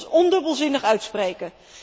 Wij moeten ons ondubbelzinnig uitspreken.